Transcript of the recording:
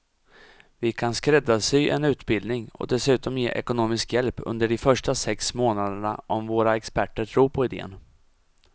Vi kan skräddarsy en utbildning och dessutom ge ekonomisk hjälp under de första sex månaderna om våra experter tror på idén.